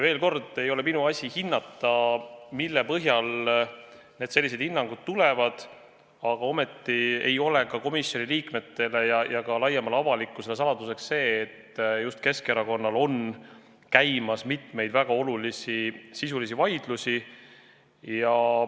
Veel kord: ei ole minu asi hinnata, mille põhjal sellised hinnangud tulevad, aga ometi ei ole komisjoni liikmetele ja ka laiemale avalikkusele saladus, et just Keskerakonnal on käimas mitu väga olulist sisulist vaidlust.